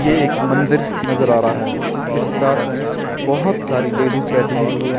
ये एक मंदिर नजर आ रहा है जिसके साथ में बहोत सारी लेडीज बैठी हुई है।